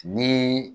Ni